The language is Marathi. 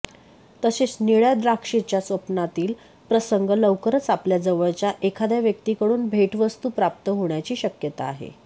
तसेच निळ्या द्राक्षेच्या स्वप्नातील प्रसंग लवकरच आपल्या जवळच्या एखाद्या व्यक्तीकडून भेटवस्तू प्राप्त होण्याची शक्यता आहे